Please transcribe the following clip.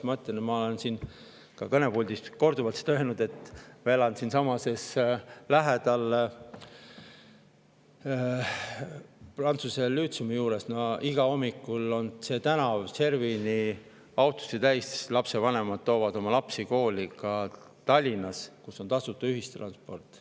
Ma ütlen, ja ma olen siin kõnepuldist korduvalt seda öelnud, et ma elan siinsamas lähedal prantsuse lütseumi juures ning igal hommikul on see tänav servani autosid täis, sest lapsevanemad viivad lapsi kooli ka Tallinnas, kus on tasuta ühistransport.